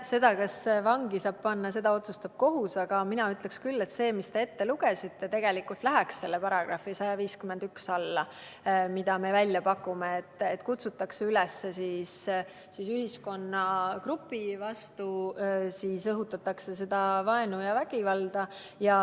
Seda, kas vangi saab panna, otsustab kohus, aga mina ütleksin küll, et see, mis te ette lugesite, läheks selle § 151 alla, mille me välja pakkusime, et kutsutakse üles ühiskonnagrupi vastu, õhutatakse vaenu ja vägivalda.